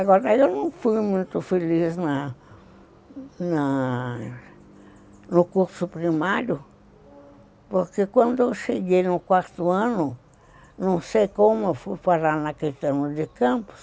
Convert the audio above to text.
Agora, eu não fui muito feliz na na no curso primário, porque quando eu cheguei no quarto ano, não sei como eu fui parar naquele de campus,